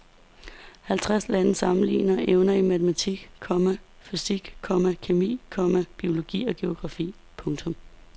Halvtreds lande sammenligner evner i matematik, komma fysik, komma kemi, komma biologi og geografi. punktum